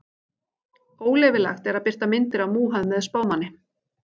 Óleyfilegt er að birta myndir af Múhameð spámanni.